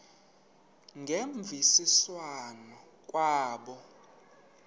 ngemvisiswano r kwabo